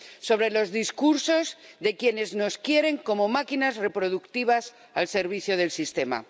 Sobre los discursos de quienes nos quieren como máquinas reproductivas al servicio del sistema.